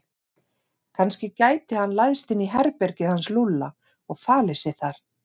Kannski gæti hann læðst inn í herbergið hans Lúlla og falið sig þar.